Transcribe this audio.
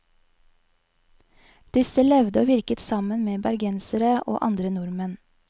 Disse levde og virket sammen med bergensere og andre nordmenn.